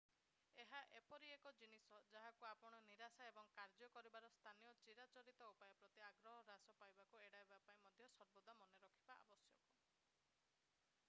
ଏହା ଏପରି ଏକ ଜିନିଷ ଯାହାକୁ ଆପଣ ନିରାଶା ଏବଂ କାର୍ଯ୍ୟ କରିବାର ସ୍ଥାନୀୟ ଚିରାଚରିତ ଉପାୟ ପ୍ରତି ଆଗ୍ରହ ହ୍ରାସ ପାଇବାକୁ ଏଡ଼ାଇବା ପାଇଁ ମଧ୍ୟ ସର୍ବଦା ମନେ ରଖିବା ଆବଶ୍ୟକ